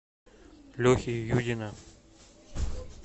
лехи юдина